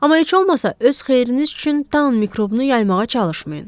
Amma heç olmasa öz xeyriniz üçün Dan mikrobunu yaymağa çalışmayın.